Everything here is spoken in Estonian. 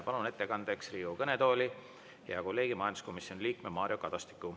Palun ettekandeks Riigikogu kõnetooli hea kolleegi, majanduskomisjoni liikme Mario Kadastiku.